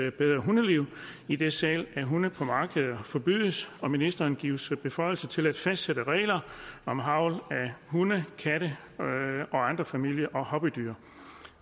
et bedre hundeliv idet salg af hunde på markeder forbydes og ministeren gives beføjelser til at fastsætte regler om avl af hunde katte og andre familie og hobbydyr